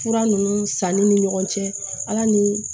Fura ninnu sanni ni ɲɔgɔn cɛ ala ni